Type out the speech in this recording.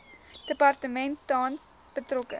departement tans betrokke